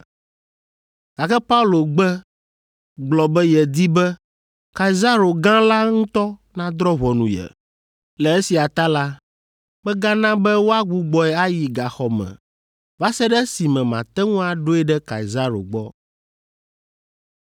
Gake Paulo gbe gblɔ be yedi be Kaisaro gã la ŋutɔ nadrɔ̃ ʋɔnu ye. Le esia ta la, megana be woagbugbɔe ayi gaxɔ me va se ɖe esime mate ŋu aɖoe ɖe Kaisaro gbɔ.”